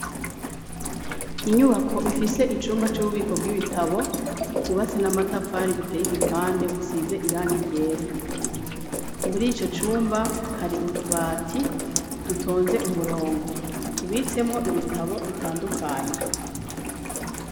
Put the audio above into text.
Inyubako ifise icumba c'ububiko bw'ibitabo kubase n'amatafari buteye igipande busize irang ryera, muri ico cumba hari utubati dutonze umurongo tubitsemwo ibitabo bitandukanye.